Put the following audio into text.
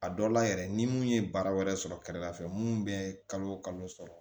A dɔ la yɛrɛ ni mun ye bara wɛrɛ sɔrɔ kɛrɛla fɛ mun bɛ kalo sɔrɔ